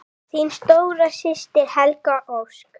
Þín stóra systir, Helga Ósk.